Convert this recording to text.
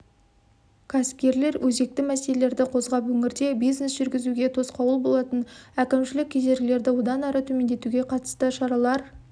кәсіпкерлер өзекті мәселелерді қозғап өңірде бизнес жүргізуге тосқауыл болатын әкімшілік кедергілерді одан әрі төмендетуге қатысты шаралар